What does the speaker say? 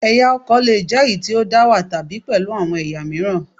Ẹ̀yà ọkọ̀ lè jẹ́ èyí tí ó dá wà, tàbí pẹ̀lú àwọn ẹ̀yà mìíràn